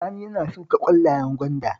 Sani yana shuka ƙwallayen gwanda